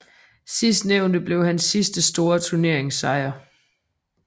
Sidstnævnte blev hans sidste store turneringssejr